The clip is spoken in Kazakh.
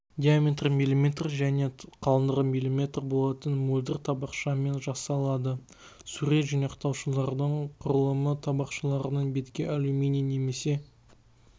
диаметрі мм және қалыңдығы мм болатын мөлдір табақшамен жасалады сурет жинақтаушылардың құрылымы табақшаларының бетке алюминий немесе